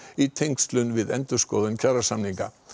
í tengslum við endurskoðun kjarasamninga